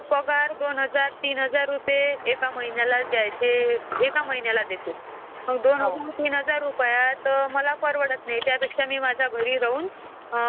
त्याचप्रमाणे पॉवरपॉईंट पण आहे. जसं की आपल्याला कुणाला काही इन्फॉर्मेशन द्यायचं आहे, तर आपण त्याला स्लाईड च्या माध्यमातून आपण क्रिएट करून ते त्यांना देऊ शकतो प्रेसझेन्टेशन बनवून